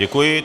Děkuji.